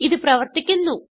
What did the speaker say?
ഇത് പ്രവർത്തിക്കുന്നു